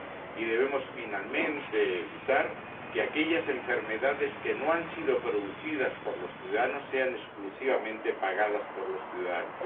y debemos, finalmente, evitar que aquellas enfermedades que no han sido producidas por los ciudadanos sean exclusivamente pagadas por los ciudadanos.